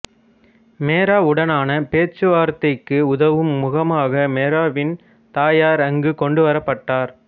மெராவுடனான பேச்சுவார்த்தைக்கு உதவும் முகமாக மெராவின் தாயார் அங்கு கொண்டுவரப்பட்டார்